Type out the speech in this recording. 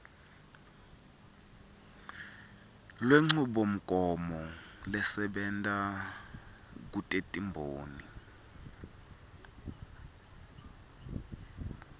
lwenchubomgomo lesebenta kutetimboni